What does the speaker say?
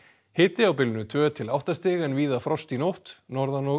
hiti á bilinu tvö til átta stig en víða frost í nótt norðan og